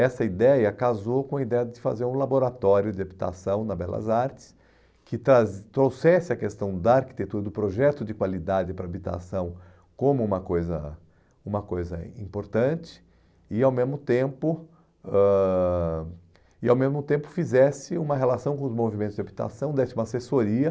Essa ideia casou com a ideia de fazer um laboratório de habitação na Belas Artes, que tra trouxesse a questão da arquitetura, do projeto de qualidade para a habitação como uma coisa, uma coisa importante e, ao mesmo tempo, ãh e ao mesmo tempo fizesse uma relação com os movimentos de habitação, desse uma assessoria.